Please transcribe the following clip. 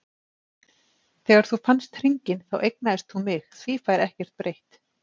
Þegar þú fannst hringinn þá eignaðist þú mig, því fær ekkert breytt.